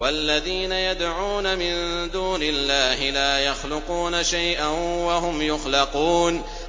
وَالَّذِينَ يَدْعُونَ مِن دُونِ اللَّهِ لَا يَخْلُقُونَ شَيْئًا وَهُمْ يُخْلَقُونَ